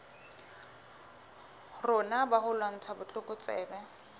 rona ba ho lwantsha botlokotsebe